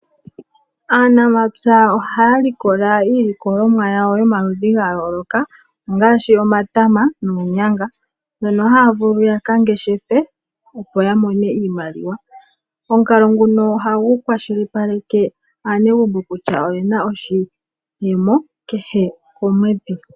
Aanamapya ohaya likola iilikolomwa yomaludhi ga yooloka ongaashi omatama noonyanga dhono haya vulu yaka ngeshefe opo ya mone iimaliwa. Omukalo nguno ohagu kwashilipaleke aanegumbo kutya oyena oshiyemo kehe komweedhi.